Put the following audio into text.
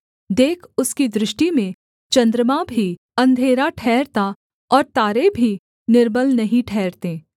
देख उसकी दृष्टि में चन्द्रमा भी अंधेरा ठहरता और तारे भी निर्मल नहीं ठहरते